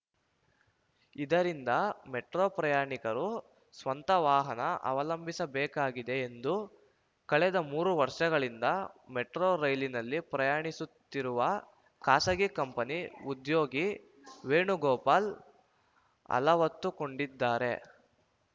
ಇದರಿಂದ ಮೆಟ್ರೋ ಪ್ರಯಾಣಿಕರು ಸ್ವಂತ ವಾಹನ ಅವಲಂಭಿಸಬೇಕಾಗಿದೆ ಎಂದು ಕಳೆದ ಮೂರು ವರ್ಷಗಳಿಂದ ಮೆಟ್ರೋ ರೈಲಿನಲ್ಲಿ ಪ್ರಯಾಣಿಸುತ್ತಿರುವ ಖಾಸಗಿ ಕಂಪನಿ ಉದ್ಯೋಗಿ ವೇಣುಗೋಪಾಲ್‌ ಅಲವತ್ತುಕೊಂಡಿದ್ದಾರೆ